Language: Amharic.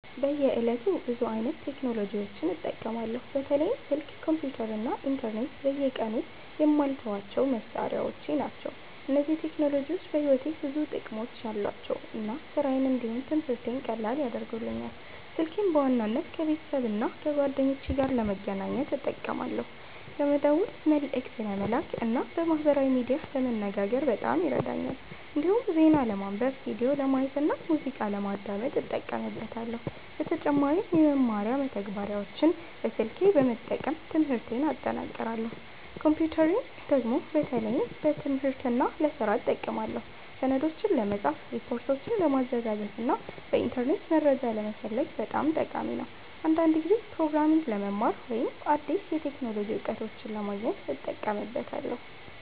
በየዕለቱ ብዙ አይነት ቴክኖሎጂዎችን እጠቀማለሁ። በተለይም ስልክ፣ ኮምፒተር እና ኢንተርኔት በየቀኑ የማልተዋቸው መሳሪያዎች ናቸው። እነዚህ ቴክኖሎጂዎች በሕይወቴ ውስጥ ብዙ ጥቅሞች አሏቸው እና ስራዬን እንዲሁም ትምህርቴን ቀላል ያደርጉልኛል። ስልኬን በዋናነት ከቤተሰብና ከጓደኞቼ ጋር ለመገናኘት እጠቀማለሁ። ለመደወል፣ መልእክት ለመላክ እና በማህበራዊ ሚዲያ ለመነጋገር በጣም ይረዳኛል። እንዲሁም ዜና ለማንበብ፣ ቪዲዮ ለማየት እና ሙዚቃ ለማዳመጥ እጠቀምበታለሁ። በተጨማሪም የመማሪያ መተግበሪያዎችን በስልኬ በመጠቀም ትምህርቴን እጠናክራለሁ። ኮምፒተርን ደግሞ በተለይ ለትምህርትና ለስራ እጠቀማለሁ። ሰነዶችን ለመጻፍ፣ ሪፖርቶችን ለማዘጋጀት እና በኢንተርኔት መረጃ ለመፈለግ በጣም ጠቃሚ ነው። አንዳንድ ጊዜም ፕሮግራሚንግ ለመማር ወይም አዲስ የቴክኖሎጂ እውቀቶችን ለማግኘት እጠቀምበታለሁ።